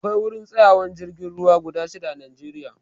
Akwai wurin tsayawan jirgin ruwa guda shida a najeriya